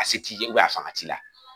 A se t'i ye a fanga t'i la.